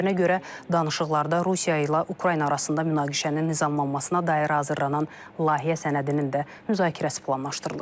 Onun sözlərinə görə danışıqlarda Rusiya ilə Ukrayna arasında münaqişənin nizamlanmasına dair hazırlanan layihə sənədinin də müzakirəsi planlaşdırılır.